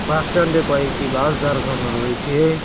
বাসস্ট্যান্ডে কয়েকটি বাস দাঁড় করানো রয়েছে।